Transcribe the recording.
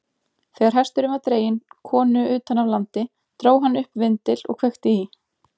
Þegar hesturinn var dreginn konu utan af landi, dró hann upp vindil og kveikti í.